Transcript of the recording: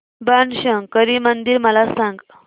बाणशंकरी मंदिर मला सांग